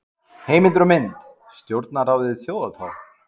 Heimildir og mynd: Stjórnarráðið Þjóðartákn.